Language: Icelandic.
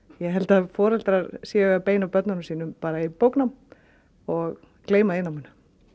ég held að foreldrar séu að beina börnunum sínum í bóknám og gleyma iðnnáminu